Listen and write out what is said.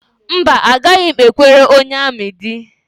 Mba, agaghị m ekwere onye amị di